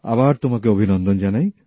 আবারও তোমাকে অভিনন্দন জানাই